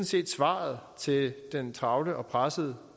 set svaret til den travle og pressede